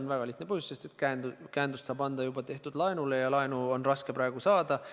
On väga lihtne põhjus: sest käendust saab anda juba tehtud laenule ja laenu on raske praegu saada.